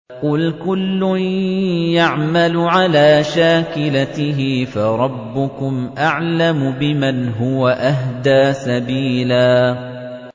قُلْ كُلٌّ يَعْمَلُ عَلَىٰ شَاكِلَتِهِ فَرَبُّكُمْ أَعْلَمُ بِمَنْ هُوَ أَهْدَىٰ سَبِيلًا